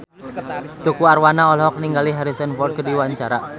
Tukul Arwana olohok ningali Harrison Ford keur diwawancara